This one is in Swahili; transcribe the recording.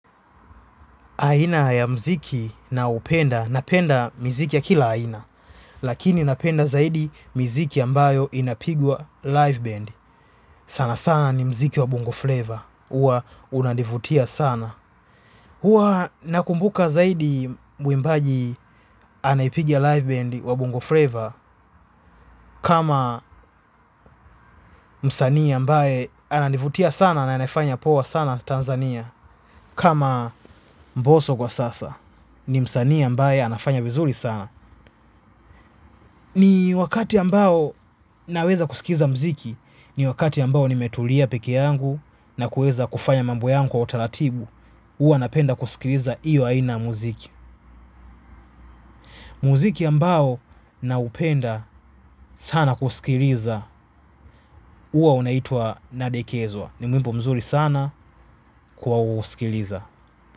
Aina ya muziki nayopenda, napenda muziki ya kila aina. Lakini napenda zaidi mziki ambayo inapigwa live band. Sana sana ni mziki wa Bongo Flavor. Uwa unanivutia sana. Uwa nakumbuka zaidi mwimbaji anayepigwa live band wa Bongo Flavor. Kama msania ambae anadnvutia sana na anafanya poa sana Tanzania. Kama mboso kwa sasa ni msani ambae anafanya vizuri sana. Ni wakati ambao naweza kusikiliza mziki, ni wakati ambao nimetulia peke yangu na kueza kufanya mambuo yangu wa otaratibu, uwa napenda kusikiliza iyo aina ya mziki. Muziki ambao naupenda sana kusikiliza huwa unaitwa nadekezwa. Ni mwimbo mzuri sana kwa usikiliza.